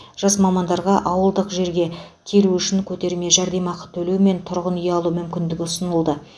жас мамандарға ауылдық жерге келу үшін көтерме жәрдемақы төлеу мен тұрғын үй алу мүмкіндігі ұсынылды